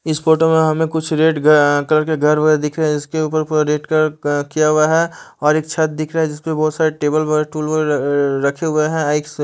इस फोटो में हमें कुछ रेड अ कलर के घर वर दिख रहे हैं जिसके ऊपर पूरा रेड कलर क किया हुआ है और एक छत दिख रहा है जिसपे बोहोत सारे टेबल टूल रखे हुए हैं